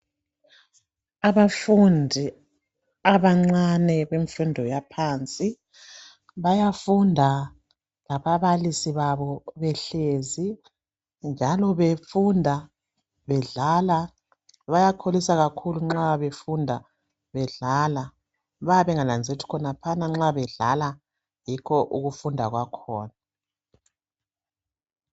Abafundi abancane bemfundo yaphansi bayafunda lababalisi babo behlezi njalo befunda bedlala bayakholisa kakhulu nxa befunda bedlale bayabe benganazeleli ukuthi khonaphana nxa bedlala yikho ukufunda kwakhona.